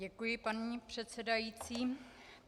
Děkuji, paní předsedající.